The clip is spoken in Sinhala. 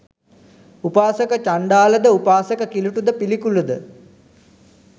උපාසක චණ්ඩාලද උපාසක කිලුටද පිළිකුලද